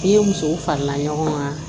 I musow farala ɲɔgɔn kan